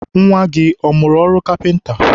nwa gị ọ mụrụ ọrụ kapịnta?